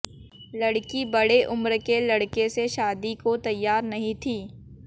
लडक़ी बड़ी उम्र के लडक़े से शादी को तैयार नहीं थी